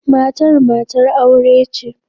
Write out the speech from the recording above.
Matar matar aure ce.